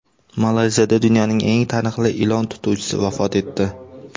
Malayziyada dunyoning eng taniqli ilon tutuvchisi vafot etdi.